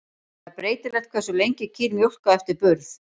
Það er breytilegt hversu lengi kýr mjólka eftir burð.